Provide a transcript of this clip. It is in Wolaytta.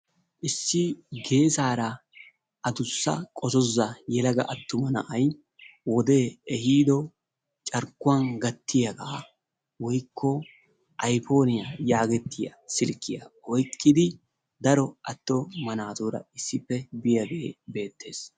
Issi geessaara qoozozza yelaga attuma na'ay wodee ehiido carkkuwaa gattiyaagaa woykko aypooniyaa yaagettiyaa silkkiyaa oykkidi daro attuma naaturaa issippe biyaagee beettees.